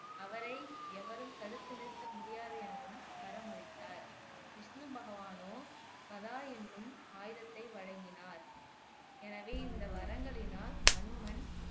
அவரை எவரும் தடுத்து நிறுத்த முடியாது எனவும் வரமளித்தார் விஷ்ணு பகவானோ கதா எண்ணும் ஆயுதத்தை வழங்கினார் எனவே இந்த வரங்களினால் அனுமன்